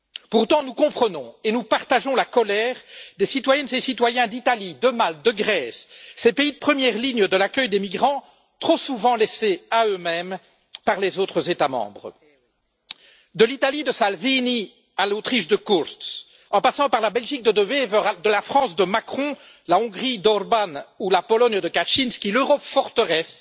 Pourtant, nous comprenons et nous partageons la colère des citoyennes et citoyens d'Italie, de Malte, de Grèce, ces pays de première ligne de l'accueil des migrants, trop souvent livrés à eux mêmes par les autres États membres. De l'Italie de Salvini à l'Autriche de Kurz, en passant par la Belgique de De Wever, la France de Macron, la Hongrie d'Orbán ou la Pologne de Kaczynski, l'Europe forteresse